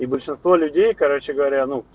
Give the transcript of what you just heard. большинство людей короче говоря